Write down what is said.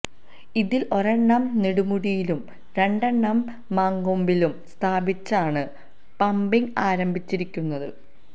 ഇതിൽ ഒരെണ്ണം നെടുമുടിയിലും രണ്ടെണ്ണം മങ്കൊമ്പിലും സ്ഥാപിച്ചാണ് പമ്പിങ് ആരംഭിച്ചിരിക്കുന്നത്